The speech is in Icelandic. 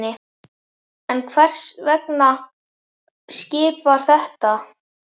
En hvers vegna skip sem þetta?